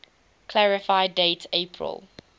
clarify date april